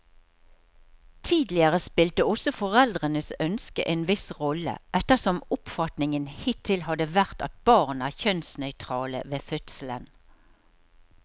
Tidligere spilte også foreldrenes ønske en viss rolle, ettersom oppfatningen hittil har vært at barn er kjønnsnøytrale ved fødselen.